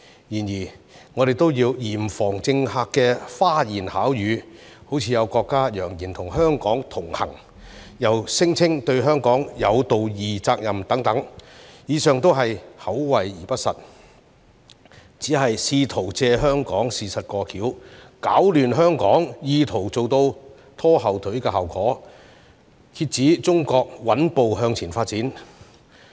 然而，我們都要嚴防政客的花言巧語，例如有國家揚言與香港同行，又聲稱對香港有道義責任等，以上都是口惠而不實，只是試圖藉香港事務"過橋"，攪亂香港，意圖做到拖後腿的效果，遏止中國穩步向前發展。